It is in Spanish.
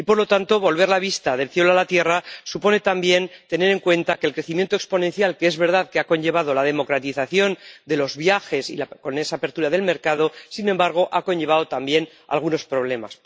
Y, por lo tanto, volver la vista del cielo a la tierra supone también tener en cuenta que el crecimiento exponencial que ha conllevado la democratización de los viajes con esa apertura del mercado ha acarreado también algunos problemas